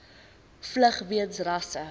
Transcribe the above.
vlug weens rasse